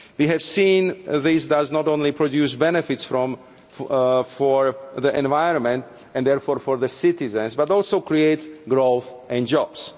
We have seen that this not only produces benefits for the environment and therefore for the citizens, but that it also creates growth and jobs.